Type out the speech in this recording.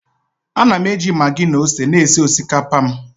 Ana m eji maggi na ose na-esi osikapa m